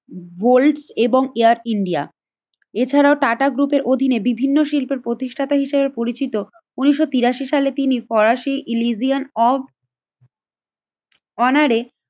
Gold এবং Air India. এছাড়াও টাটা গ্রুপের অধীনে বিভিন্ন শিল্পের প্রতিষ্ঠাতা হিসেবে পরিচিত। উন্নিশশো তিরাশি সালে তিনি ফরাসি ইলিজিয়ান অফ অনারে